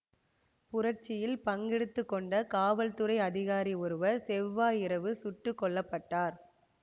புரட்சியில் பங்கெடுத்து கொண்ட காவல்துறை அதிகாரி ஒருவர் செவ்வாய் இரவு சுட்டு கொல்ல பட்டார்